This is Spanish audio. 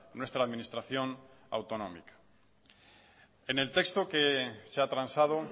nuestra administración autonómica en el texto que se ha transado